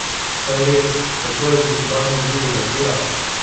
Saj res, kako je že z gradnjo drugega tira?